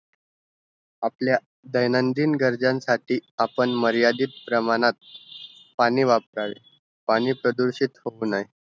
आपल्या दैनंदिन गर्जनसाठी आपण मर्यादित प्रमाणांत पाणी वापरावे पाणी प्रदूषित होऊनही